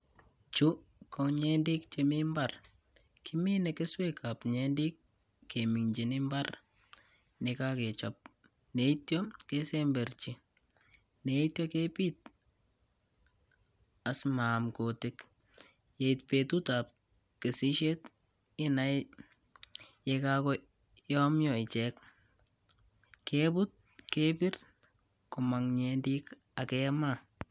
Chu ko nyendek che mi mbar kimine keswekab nyendek keminjin imbar nekagechop neityo kesemberji neityo kepiit asimaan kuti.k Yeit betutab kesishet inaee yekagoyomya ichek kebut kebirr bomang nyendek ak kemaa.